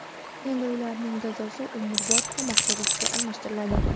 Endi ularning jazosi umrbod qamoq jazosiga almashtiriladi.